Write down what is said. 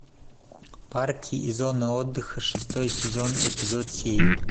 парки и зоны отдыха шестой сезон эпизод семь